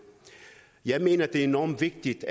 jeg mener at det er enormt vigtigt